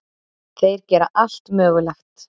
Þeir gera allt mögulegt.